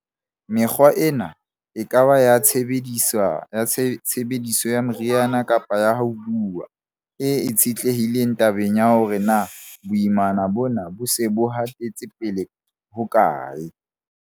Mekgwa ena, e ka ba ya tshebediso ya meriana kapa ya ho buuwa, e itshetlehileng tabeng ya hore na boimana bona bo se bo hatetse pele hokae.